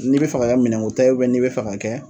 N'i bɛ f'a ka kɛ minɛnko ta ye n'i bɛ f'a ka kɛ